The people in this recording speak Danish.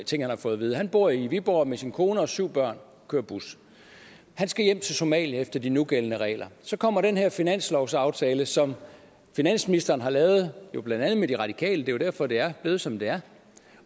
ting han har fået at vide han bor i viborg med sin kone og syv børn og kører bus han skal hjem til somalia efter de nugældende regler så kommer den her finanslovsaftale som finansministeren har lavet med blandt andet de radikale det jo derfor det er blevet som det er